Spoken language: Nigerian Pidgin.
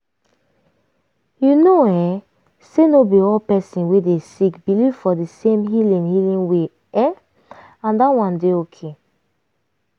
you know um say no be all person wey dey sick believe for di same healing healing way um and that one dey ok.